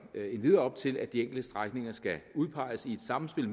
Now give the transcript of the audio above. endvidere op til at de enkelte strækninger skal udpeges i et samspil